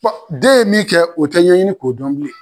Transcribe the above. Den ye min kɛ o tɛ ɲɛɲini k'o dɔn bilen